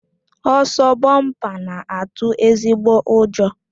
Ọsọ bọmpa na-atụ ezigbo ụjọ